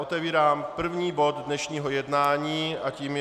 Otevírám první bod dnešního jednání a tím je